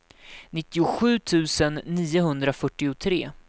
nittiosju tusen niohundrafyrtiotre